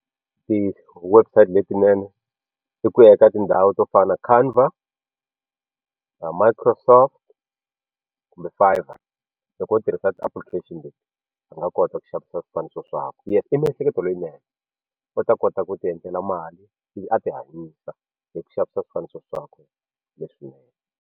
Ti-websites letinene i ku ya eka tindhawu to fana na Canva, Microsoft kumbe Fiverr loko u tirhisa ti-application a nga kota ku xavisa swifaniso swakwe leyi i miehleketo leyinene u ta kota ku ti endlela mali ivi a ti hanyisa hi ku xavisa swifaniso swakwe leswinene.